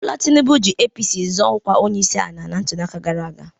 Bọla Tinubu ji APC zọọ ọkwa onyeisi ala na ntụliaka gara aga.